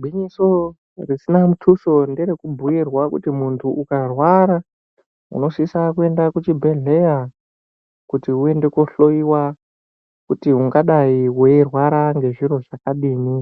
Gwinyiso risina muthuso ngerekubhuirwa kuti munthu ukarwara, unosisa kuenda kuchibhedhleya kuti uende kohloiwa, kuti ungadai weirwara ngezviro zvakadini